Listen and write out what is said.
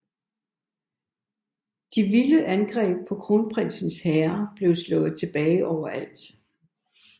De vilde angreb fra kronprinsens hære blev slået tilbage overalt